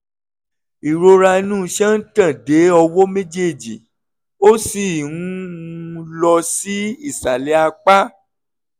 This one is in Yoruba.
ìrora inú iṣan ń tàn dé ọwọ́ méjèèjì ó sì ń um lọ sí ìsàlẹ̀ apá